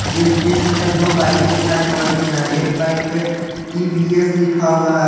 इस दृश्य में दो बाइकें दिखाई पड़ रही हैं एक बाइक पे टी_वी_एस लिखा हुआ है।